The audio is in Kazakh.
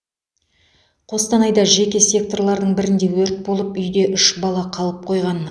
қостанайда жеке секторлардың бірінде өрт болып үйде үш бала қалып қойған